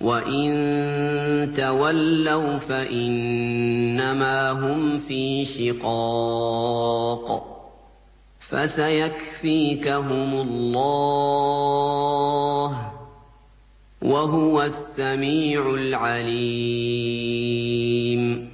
وَّإِن تَوَلَّوْا فَإِنَّمَا هُمْ فِي شِقَاقٍ ۖ فَسَيَكْفِيكَهُمُ اللَّهُ ۚ وَهُوَ السَّمِيعُ الْعَلِيمُ